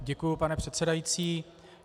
Děkuji, pane předsedající.